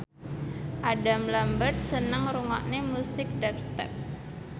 Adam Lambert seneng ngrungokne musik dubstep